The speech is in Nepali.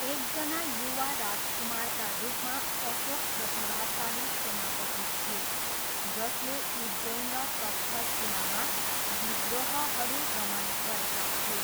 एकजना युवा राजकुमारका रूपमा, अशोक प्रतिभाशाली सेनापति थिए जसले उज्जैन र तक्षशिलामा विद्रोहहरू दमन गरेका थिए।